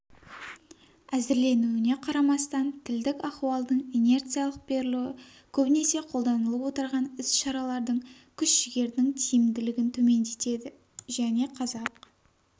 әзірленуіне қарамастан тілдік ахуалдың инерциялық берілуі көбінесе қолданыланылып отырған іс-шаралардың күш-жігердің тиімділігін төмендетеді және қазақ